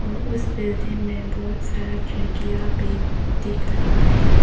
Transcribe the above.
और उस बिल्डिंग में बहोत सारा खिड़कियां भी दिख रहा है।